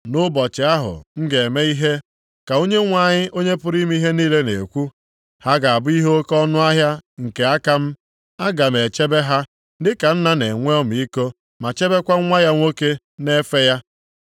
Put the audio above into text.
“Nʼụbọchị ahụ m ga-eme ihe,” ka Onyenwe anyị, Onye pụrụ ime ihe niile na-ekwu, “ha ga-abụ ihe oke ọnụahịa nke aka m. Aga m echebe ha, dịka nna na-enwe ọmịiko ma chebekwa nwa ya nwoke na-efe ya.